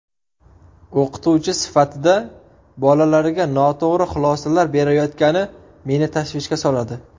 O‘qituvchi sifatida bolalarga noto‘g‘ri xulosalar berayotgani meni tashvishga soladi.